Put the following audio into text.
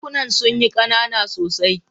Dakunan suna kanana sosai.